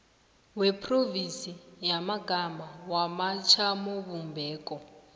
yeprovinsi yamagama wamajamobumbeko